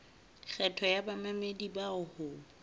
kgetho ya bamamedi bao ho